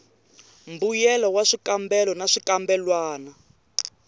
mbuyelo wa swikambelo na swikambelwana